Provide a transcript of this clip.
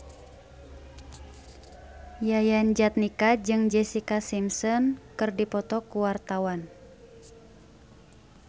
Yayan Jatnika jeung Jessica Simpson keur dipoto ku wartawan